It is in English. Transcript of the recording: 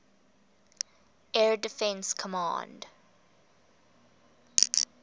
air defense command